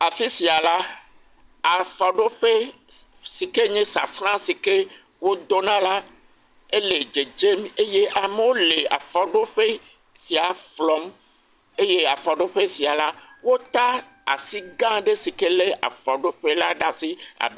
Afi sia la afɔɖoƒe si ke nya sasra si ke wo dɔna la ele dzedzem eye amewo le afɔɖoƒe sia flɔm eye afɔɖoƒe sia la wota asi gã aɖe si lé afɔɖoƒe la ɖe asi abe…